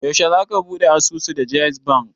Yaushe za ka ɓuɗe asusu da jaiz bank?